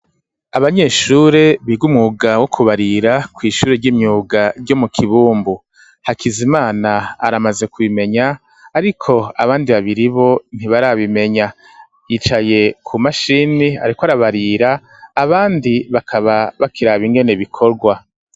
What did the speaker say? Abanyeshuri biga umwuga wo kubarira ku ishuri ry'imyuga ryo mu kibumbu hakizimana aramaze kubimenya ariko abandi babiri bo ntibarabimenya yicaye ku mashini ariko arabarira abandi bakaba bakirab ingene bikorwa.